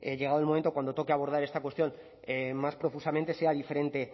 llegado el momento cuando toque abordar esta cuestión más profusamente sea diferente